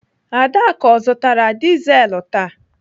Adaku ọ zụtara dizelu taa?